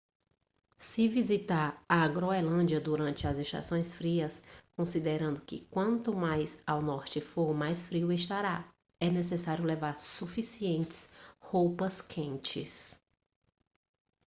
se visitar a groenlândia durante as estações frias considerando que quanto mais ao norte for mais frio estará é necessário levar suficientes roupas quentes